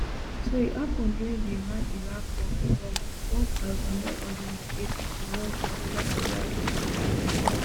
so e happun during di raniraq war from one thousand, nine hundred and eighty to one thousand, nine hundred and eighty-eight